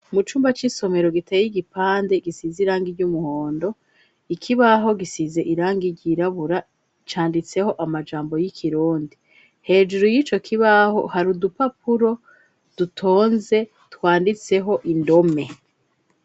Mu cumba c'isomero giteye igipande gisize irangi ry'umuhondo, ikibaho gisize irangi ryirabura, canditseho amajambo y'ikirundi, hejuru y'ico kibaho hari udupapuro dutonze twanditseho indome.